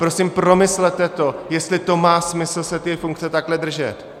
Prosím, promyslete to, jestli to má smysl se té funkce takhle držet.